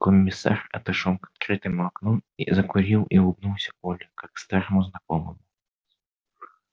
комиссар отошёл к открытому окну закурил и улыбнулся коле как старому знакомому